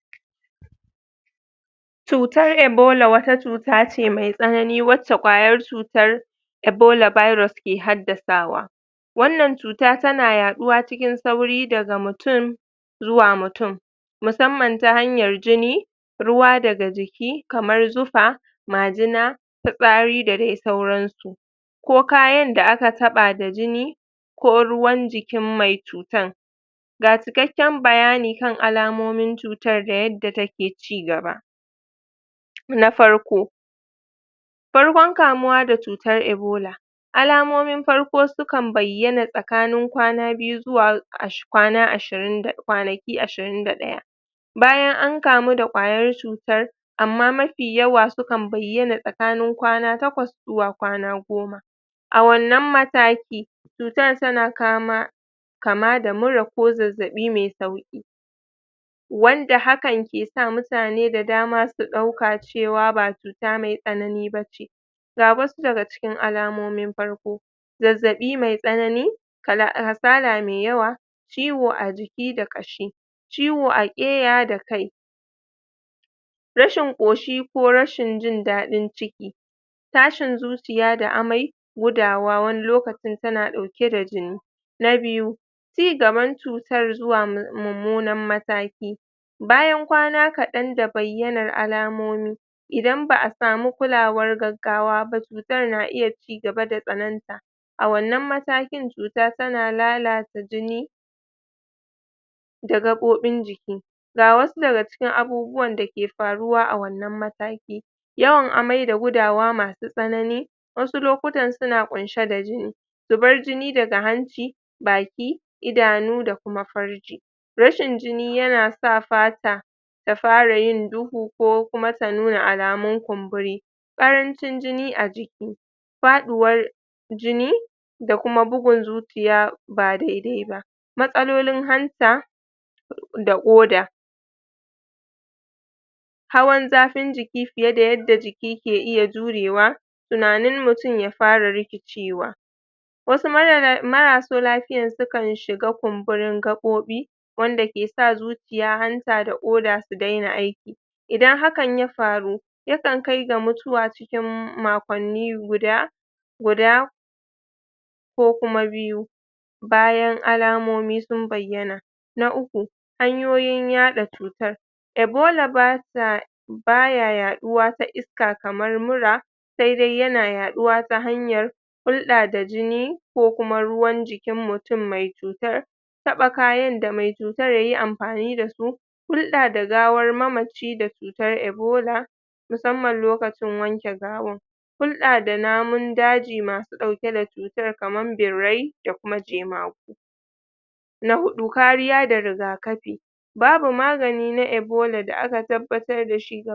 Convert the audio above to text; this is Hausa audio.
gudanar da asma me tsanani da gaggawa gabatarwa asm acuta ce da dake shafar hanyoyi shakar iska inda hanyoyin inda hanyoyin iska ke matsewa su kumbura su fitar da da mar majina sosai wanda ke hiafar da wahalan numfashi idan asma tayi tsaka tsanani da gaggawa tana bukatar kulawa da gaggawa domin ceto ceton rai alamomin asma me tsanani da gaggawa wahalan numfashi na biyu jin k jin karancin iska ko kamar ko kamar ba bazaa iya shakar iska ba na uku yawan tari musamman da daddare na hudu jin zafi a kirji ko ko ko ko ko matsa na biyar saurin bugun zuciya na shida jin gajiya sosai ko ka kasa magana na bakwai launin lebe ko yatsa yana iya yin shudi gudanar da mara gunadar da mar gudanar da mara lafiya idan mutum ya ya fuskanci irin wannan yanayi yana da mahimmanci akaishi asibiti cikin gaggawa ga ma ga mata ga matkai da da aek bi kula da mara lafiya a asibiti ana fara ana fara ba ana fara wa da ana farawa da sa mai abun sha kan iska domin kara iska ajiki a jikin mutum ana amfani da ana amfani da inhaler domin bude hanyoyin iska hanyoyin shakar iska ana iya kara ana iya kara ana ana iya anaa idan cuta idan ciwon ya chigaba da idan ciwon ya chigaba ba tare da sauki